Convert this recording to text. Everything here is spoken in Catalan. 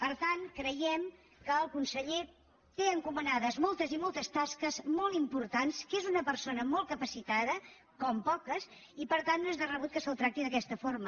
per tant creiem que el conseller té encomanades moltes i moltes tasques molt importants que és una persona molt capacitada com poques i per tant no és de rebut que se’l tracti d’aquesta forma